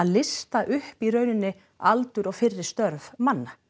lista upp í rauninni aldur og fyrri störf manna